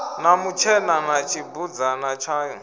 na mutshena na tshibudzana tshayo